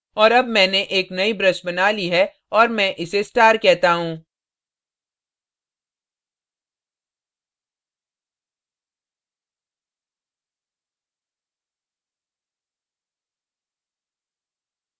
और अब मैंने एक नई brush बना ली है और मैं इसे star कहता हूँ